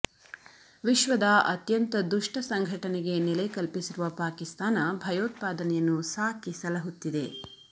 ವಿಶ್ವದ ಅತ್ಯಂತ ದುಷ್ಟ ಸಂಘಟನೆಗೆ ನೆಲೆ ಕಲ್ಪಿಸಿರುವ ಪಾಕಿಸ್ತಾನ ಭಯೋತ್ಪಾದನೆಯನ್ನು ಸಾಕಿ ಸಲಹುತ್ತಿದೆ